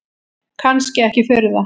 Kannski ekki furða.